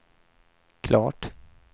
klart